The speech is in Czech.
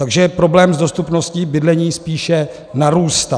Takže problém s dostupností bydlení spíše narůstá.